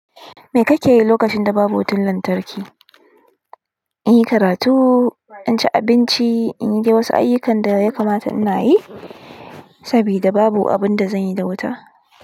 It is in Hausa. Me kake yi lokacin da babu wutan lantarki? In yi karatu, in ci abinci, in yi dai wasu ayukan da ya kamata in yi saboda babu abin da zan yi da wuta.